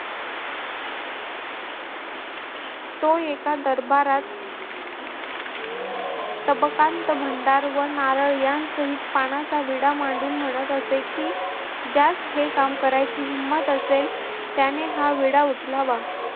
तो एका दरबारात तबकांत भांडार व नारळ यांसहित पानाचा विडा मांडून म्हणत असे कि ज्यास हे काम करायची हिंम्मत असेल त्याने हा विडा उचलावा.